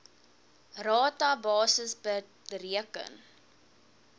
rata basis bereken